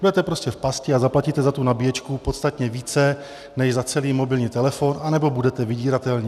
Budete prostě v pasti a zaplatíte za tu nabíječku podstatně více než za celý mobilní telefon, anebo budete vydíratelní.